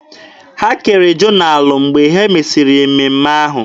Ha kere jonalụ mgbe e mesịrị mmemme ahụ.